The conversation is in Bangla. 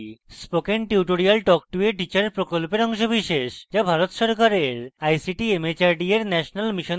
spoken tutorials talk to a teacher প্রকল্পের অংশবিশেষ যা ভারত সরকারের ict mhrd এর national mission on education দ্বারা সমর্থিত